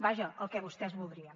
vaja el que vostès voldrien